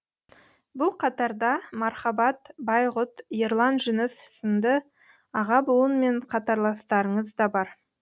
бұл қатарда мархабат байғұт ерлан жүніс сынды аға буын мен қатарластарыңыз да бар